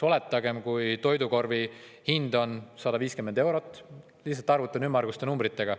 Oletagem, et toidukorvi hind on 150 eurot kuus – lihtsalt arvutan ümmarguste numbritega.